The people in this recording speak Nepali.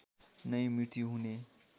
नै मृत्यु हुने